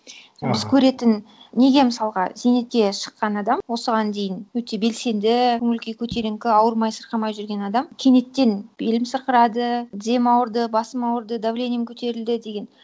аха біз көретін неге мысалға зейнетке шыққан адам осыған дейін өте белсенді көңіл күйі көтеріңкі ауырмай сырқамай жүрген адам кенеттен белім сырқырады тізем ауырды басым ауырды давлением көтерілді деген